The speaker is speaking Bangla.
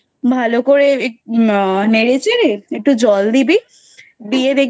ভালো করে এক আহ নেড়ে চেড়ে একটু জল দিবি। দিয়ে দেখবি